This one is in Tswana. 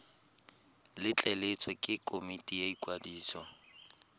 letleletswe ke komiti ya ikwadiso